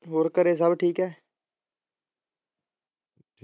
ਹੋਰ ਘਰੇ ਸਬ ਠੀਕ ਹੈ